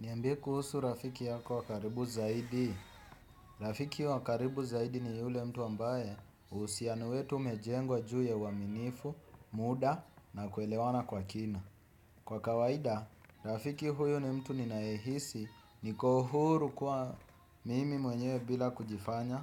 Niambie kuhusu rafiki yako wakaribu zaidi? Rafiki wakaribu zaidi ni yule mtu ambaye, uhusiano wetu umejengwa juu ya uwaminifu, muda na kuelewana kwa kina. Kwa kawaida, rafiki huyo ni mtu ninayehisi, niko huru kwa mimi mwenyewe bila kujifanya.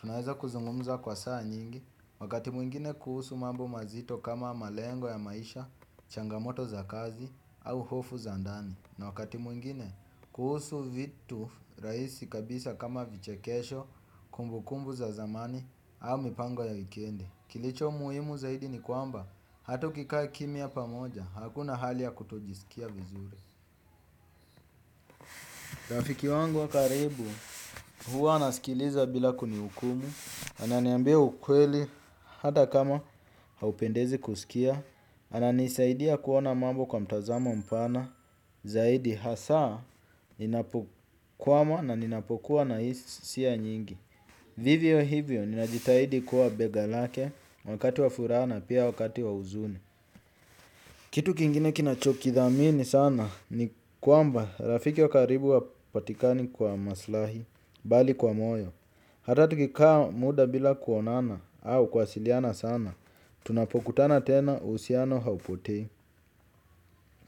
Tunaeza kuzungumza kwa saa nyingi. Wakati mwingine kuhusu mabo mazito kama malengo ya maisha, changamoto za kazi, au hofu za dani. Na wakati mwingine, kuhusu vitu rahisi kabisa kama vichakesho, kumbukumbu za zamani, au mipango ya wikende. Kilicho muhimu zaidi ni kwamba, hata ukika kimia pamoja, hakuna hali ya kutojisikia vizuri. Rafiki wangu wa karibu, huwa anasikiliza bila kuni hukumu. Ana niambia ukweli, hata kama haupendezi kuuskia. Ananiisaidia kuona mambo kwa mtazamo mpaana. Zaidi hasa ninapokwama na ninapokuwa nahisia nyingi, vivyo hivyo ninajitahidi kuwa bega lake, wakati wa fura na pia wakati wa huzuni. Kitu kingine kinacho kithamini sana ni kwamba, rafiki wakaribu wa patikani kwa maslahi bali kwa moyo, hata tukikaa muda bila kuonana au kuwasiliana sana, tunapokutana tena husiano haupotei.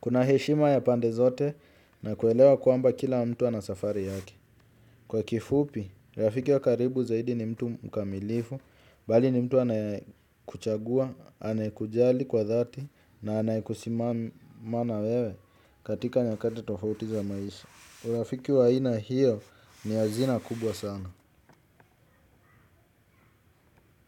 Kuna heshima ya pande zote. Na kuelewa kwamba kila mtu ana safari yake, kwa kifupi. Rafiki wa karibu zaidi ni mtu mkamilifu. Bali ni mtu anayekuchagua, anayekujali kwa dhati, na anayekusimama na wewe katika nyakati tofauti za maisha. Urafiki wa ina hiyo ni hazina kubwa sana.